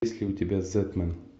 есть ли у тебя зетмен